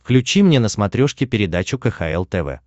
включи мне на смотрешке передачу кхл тв